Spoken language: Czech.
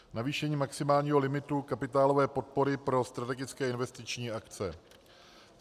Navýšení maximálního limitu kapitálové podpory pro strategické investiční akce.